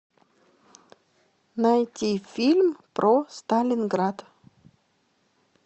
найти фильм про сталинград